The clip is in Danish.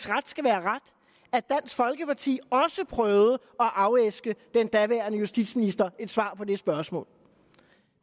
ret skal være ret at dansk folkeparti også prøvede at afæske den daværende justitsminister et svar på det spørgsmål